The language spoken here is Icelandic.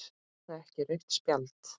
Er það ekki rautt spjald?